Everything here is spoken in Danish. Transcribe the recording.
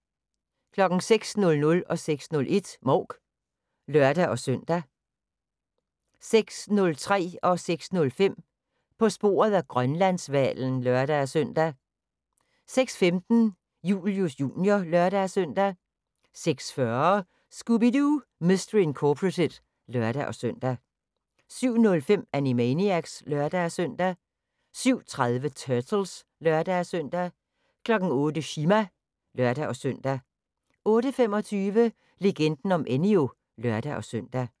06:00: Mouk (lør-søn) 06:01: Mouk (lør-søn) 06:03: På sporet af Grønlandshvalen (lør-søn) 06:05: På sporet af Grønlandshvalen (lør-søn) 06:15: Julius Jr. (lør-søn) 06:40: Scooby-Doo! Mystery Incorporated (lør-søn) 07:05: Animaniacs (lør-søn) 07:30: Turtles (lør-søn) 08:00: Chima (lør-søn) 08:25: Legenden om Enyo (lør-søn)